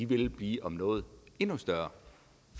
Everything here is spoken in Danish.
vil blive om noget endnu større